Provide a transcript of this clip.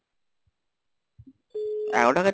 এগারো,